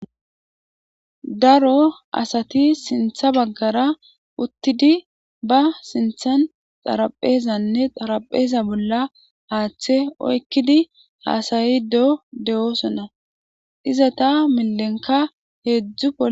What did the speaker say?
Daro asati sintha baggara uttidi ba sinthan xarapheezanne xarapheeza bolla haaththe oykkidi haasayi do de'oosona izata milenka heedzdzuol.